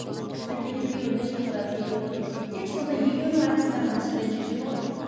сонда кейде күйеуін де шақырады екеуін отырғызып тек сонда екеуінің арасындағы мәселені шешеді ғой